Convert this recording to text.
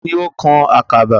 Taani ó kan àkàba?